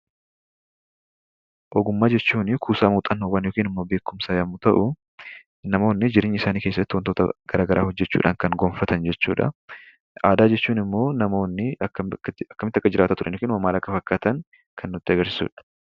Ogummaa jechuun kuusaa muuxannoowwanii yookiin immoo beekumsaa yommuu ta'u, namoonni jireenya isaanii keessatti wantoota garaagaraa hojjechuudhaan kan gonfatan jechuu dha. Aadaa jechuun namoonni akkamitti akka jiraataa turanii fi amma maal akka fakkaatan kan nutti agarsiisuu dha.